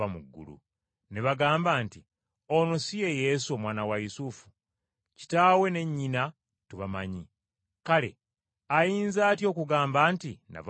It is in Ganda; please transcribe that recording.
Ne bagamba nti, “Ono si ye Yesu omwana wa Yusufu? Kitaawe ne nnyina tubamanyi. Kale ayinza atya okugamba nti, ‘Nava mu ggulu?’ ”